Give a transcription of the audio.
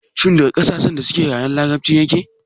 Shin daga ƙasashen da suke yaren larabci yake?